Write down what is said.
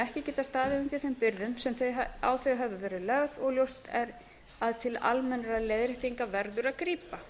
ekki geta staðið undir þeim byrðum sem á þau hafa verið lagðar og ljóst að til almennra aðgerða verður að grípa